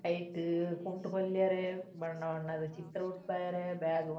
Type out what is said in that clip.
ಐಟ್ ಕುಂಟು ಪೊಲ್ಯೆರೆ ಬಣ್ಣ ಬಣ್ಣದ ಚಿತ್ರ ಬುಡ್ಪಾಯೆರೆ ಬ್ಯಾಗ್ ಮನ್ಪೆರೆ.